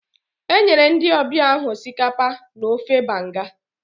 E nyere ndị ọbịa ahụ osikapa na ofe banga